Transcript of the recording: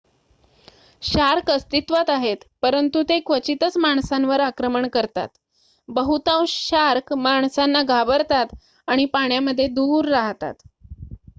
shark अस्तित्वात आहेत परंतु ते क्वचितच माणसांवर आक्रमण करतात बहुतांश शार्क माणसांना घाबरतात आणि पाण्यामध्ये दूर राहतात